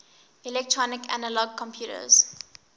electronic analog computers